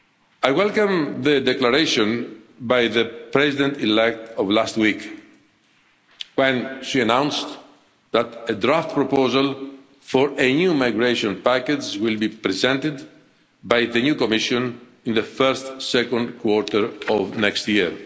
I welcome last week's declaration by the President elect when she announced that a draft proposal for a new migration package will be presented by the new Commission in the first second quarter of next